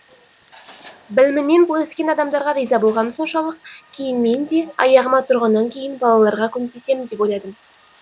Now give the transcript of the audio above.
білімімен бөліскен адамдарға риза болғаным соншалық кейін мен де аяғыма тұрғаннан кейін балаларға көмектесемін деп ойладым